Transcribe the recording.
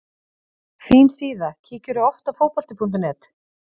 Fín síða Kíkir þú oft á Fótbolti.net?